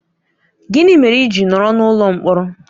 Gịnị mere i ji nọrọ n'ụlọ mkpọrọ?